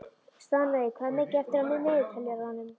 Stanley, hvað er mikið eftir af niðurteljaranum?